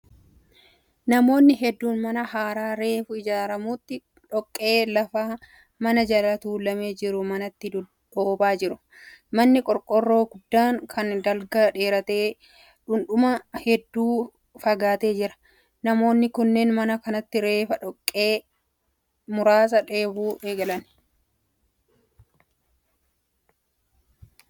Namoonni hedduun mana haaraa reefa ijaaramutti dhoqqee lafa, mana jala tuulamee jiru manatti dhoobaa jiru. Manni qorqorroo guddaan kun dalga dheeratee dhuundhuma hedduu fagaatee jira. Namoonni kunneen mana kanatti reefa dhoqqee muraasa dhoobuu jalqabu.